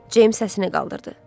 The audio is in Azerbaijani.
Ceyms səsini qaldırdı.